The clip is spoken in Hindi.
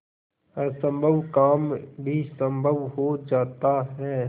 असम्भव काम भी संभव हो जाता है